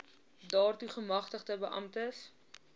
daartoe gemagtigde beamptes